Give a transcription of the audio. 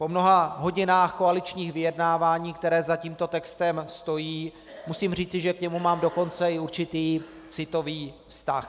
Po mnoha hodinách koaličních vyjednávání, které za tímto textem stojí, musím říci, že k němu mám dokonce i určitý citový vztah.